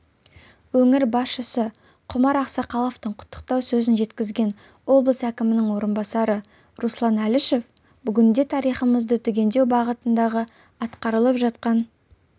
өңір басшысы құмар ақсақаловтың құттықтау сөзін жеткізген облыс әкімінің орынбасары руслан әлішев бүгінде тарихымызды түгендеу бағытындағы атқарылып жатқан